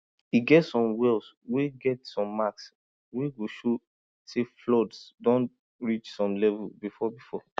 e get some wells wey get some marks wey go show say floods don reach some level before before